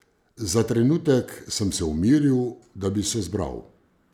Za trenutek sem se umiril, da bi se zbral.